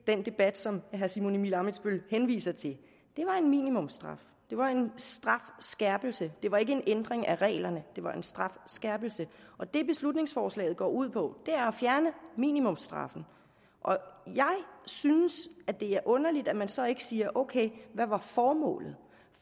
den debat som herre simon emil ammitzbøll henviser til var en minimumsstraf det var en strafskærpelse det var ikke en ændring af reglerne det var en strafskærpelse og det beslutningsforslaget går ud på er at fjerne minimumsstraffen jeg synes at det er underligt at man så ikke siger ok hvad var formålet